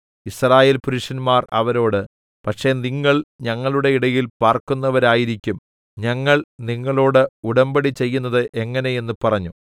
യിസ്രായേൽപുരുഷന്മാർ അവരോട് പക്ഷേ നിങ്ങൾ ഞങ്ങളുടെ ഇടയിൽ പാർക്കുന്നവരായിരിക്കും ഞങ്ങൾ നിങ്ങളോട് ഉടമ്പടി ചെയ്യുന്നത് എങ്ങനെ എന്ന് പറഞ്ഞു